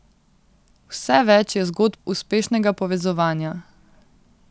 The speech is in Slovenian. Vse več je zgodb uspešnega povezovanja.